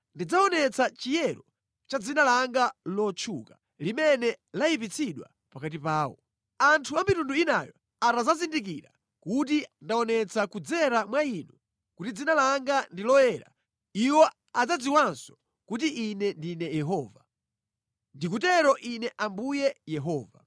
Ndidzaonetsa chiyero cha dzina langa lotchuka, limene layipitsidwa pakati pawo. Anthu a mitundu inayo atadzazindikira kuti ndaonetsa kudzera mwa inu kuti dzina langa ndi loyera, iwo adzadziwanso kuti Ine ndine Yehova. Ndikutero Ine Ambuye Yehova.